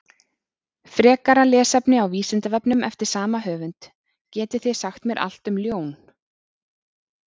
Frekara lesefni á Vísindavefnum eftir sama höfund: Getið þið sagt mér allt um ljón?